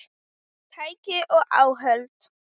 Tæki og áhöld